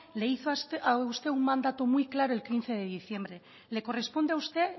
le hizo a usted un mandato muy claro el quince de diciembre le corresponde a usted